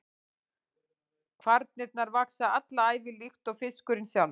Kvarnirnar vaxa alla ævi líkt og fiskurinn sjálfur.